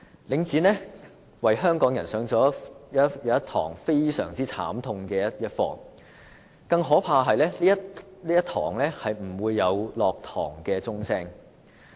領展為香港人上了非常慘痛的一課，更可怕的是這堂課不會有下課的鐘聲。